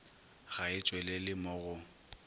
ga e tšwelele mo go